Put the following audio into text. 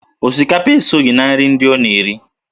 Osikapa esoghị na nri ndị ọ na-ere